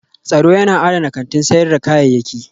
Tsaro yana adana kantin sayar da kayayyaki